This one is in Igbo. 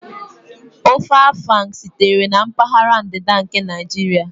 Ofe Afang sitere na mpaghara ndịda nke Naijiria